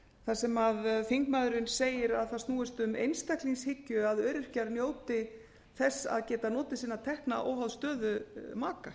þar sem þingmaðurinn segir að það snúist um einstaklingshyggju að öryrkjar njóti þess að geta notið finna tekna óháð stöðu maka